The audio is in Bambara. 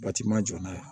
Batima jɔ n'a ye